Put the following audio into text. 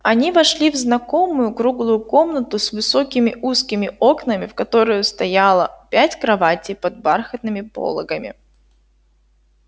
они вошли в знакомую круглую комнату с высокими узкими окнами в которой стояло пять кроватей под бархатными пологами